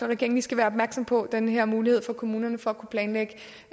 regeringen skal være opmærksom på den her mulighed for kommunerne for at kunne planlægge